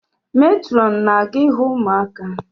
Matrọn na-aga ihu ụmụaka